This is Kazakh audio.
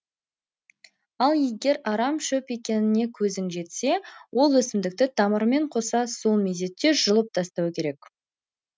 ал егер арам шөп екеніне көзің жетсе ол өсімдікті тамырымен қоса сол мезетте жұлып тастау керек